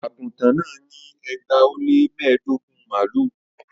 Aguntan náà ní ẹgbàá ó lé mẹ́ẹ̀ẹ́dógún mààlúù